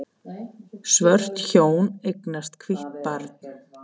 Svört hjón eignast hvítt barn